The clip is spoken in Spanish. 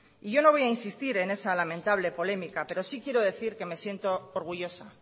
y yo no voy insistir en esa lamentable polémica pero sí quiero decir que me siento orgullosa